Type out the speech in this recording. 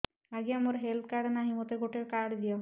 ଆଜ୍ଞା ମୋର health card ନାହିଁ ମୋତେ ଗୋଟେ କାର୍ଡ ଦିଅ